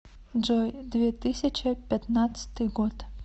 джой две тысяча пятнадцатый год